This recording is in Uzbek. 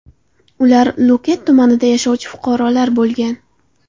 Ular Lo‘kat tumanida yashovchi fuqarolar bo‘lgan.